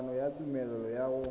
kopo ya tumelelo ya go